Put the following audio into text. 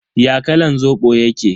Ya kalan Zobo yake?